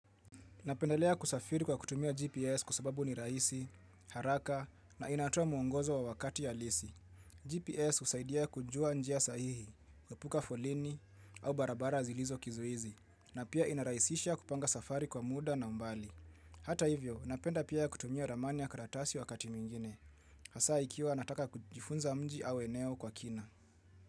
Napendelea kusafiri kwa kutumia GPS kwa sababu ni rahisi, haraka na inatoa mwongozo wa wakati halisi GPS husaidia kujua njia sahihi, kuepuka foleni au barabara zilizo kizuizi, na pia inarahisisha kupanga safari kwa muda na mbali. Hata hivyo, napenda pia kutumia ramani ya karatasi wakati mwingine. Hasa ikiwa nataka kujifunza mji au eneo kwa kina.